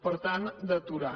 per tant d’aturar